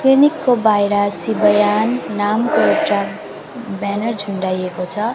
Clinic को बाहिर शिवायान नामको एउटा ब्यानर झुण्डाएको छ।